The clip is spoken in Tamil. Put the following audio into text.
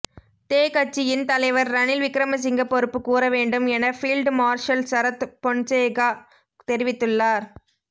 தே கட்சியின் தலைவர் ரணில் விக்கிரமசிங்க பொறுப்பு கூறவேண்டும் என பீல்ட் மார்ஷல் சரத் பொன்சேகா தெரிவித்துள்ளார்